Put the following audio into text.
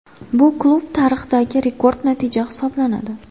Bu klub tarixidagi rekord natija hisoblanadi.